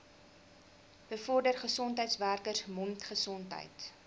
bevorder gesondheidswerkers mondgesondheid